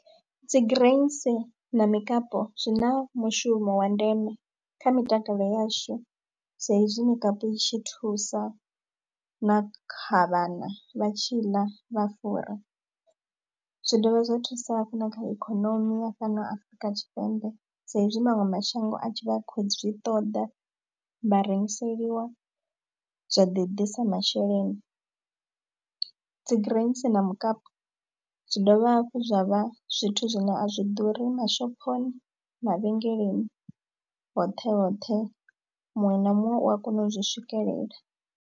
Dzi grains na mikapu zwi na mushumo wa ndeme kha mitakalo yashu saizwi mikapu i tshi thusa na kha vhana vha tshi ḽa vha fura. Zwi dovha zwa thusa hafhu na kha ikonomi ya fhano Afrika Tshipembe sa ezwi maṅwe mashango a tshi vha khou zwi ṱoḓa vha rengiseliwa zwa ḓi ḓisa masheleni. Dzi grains na mukapi zwi dovha hafhu zwa vha zwithu zwine a zwi ḓuri mashophoni mavhengeleni hoṱhe hoṱhe muṅwe na muṅwe u a kona u zwi swikelela.